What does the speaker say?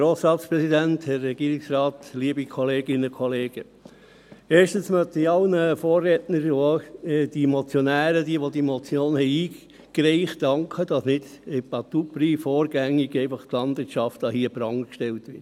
Erstens möchte ich allen Vorrednern und auch den Motionären, die diese Motion eingereicht haben, danken, dass nicht à tout prix vorgängig einfach die Landwirtschaft an den Pranger gestellt wird.